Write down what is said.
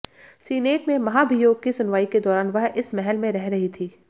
senate में महाभियोग की सुनवाई के दौरान वह इस महल में रह रही थीं